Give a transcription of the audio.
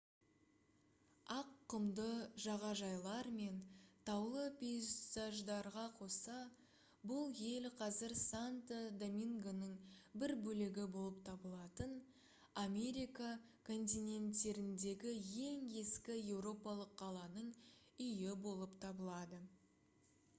ақ құмды жағажайлар мен таулы пейзаждарға қоса бұл ел қазір санто домингоның бір бөлігі болып табылатын америка континенттеріндегі ең ескі еуропалық қаланың үйі болып табылады